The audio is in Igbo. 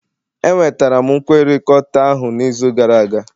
Enwetara m nkwekọrịta ahụ n'izu gara aga